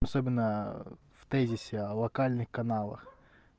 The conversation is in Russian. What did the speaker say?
особенно в тезисе локальный каналах